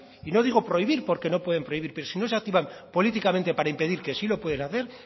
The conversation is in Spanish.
y no digo prohibir porque no pueden prohibir pero si no se activan políticamente para impedir que sí lo pueden hacer